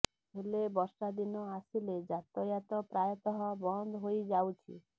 ହେଲେ ବର୍ଷା ଦିନ ଆସିଲେ ଯାତାୟାତ ପ୍ରାୟତଃ ବନ୍ଦ ହୋଇଯାଉଛି